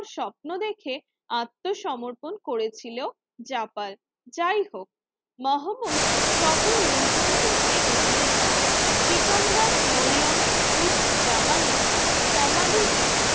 স্বপ্ন দেখে আত্মসমর্পণ করেছিল যাপার যাইহোক মহম্মদ শহর লুণ্ঠন করতে এগিয়ে যান সিকান্দার মরিয়ম উদযামানির সমাধিটি